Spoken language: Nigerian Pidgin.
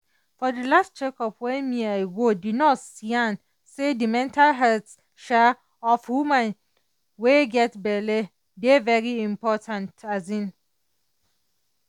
for the last check up wey me i go the nurse yan say the mental health um of woman wey get belle dey very important. um